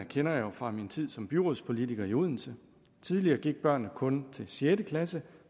kender jeg jo fra min tid som byrådspolitiker i odense tidligere gik børnene kun til sjette klasse